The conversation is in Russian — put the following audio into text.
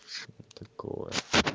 такого